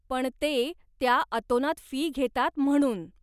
पण ते, त्या अतोनात फी घेतात म्हणून.